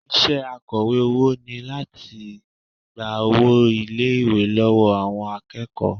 Iṣẹ́ akọ̀wé owó ni láti gba owó ilé-ìwé lọ́wọ́ àwọn akẹ́kọ̀ọ́